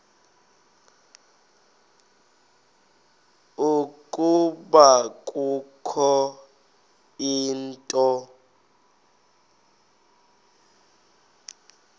ukuba kukho into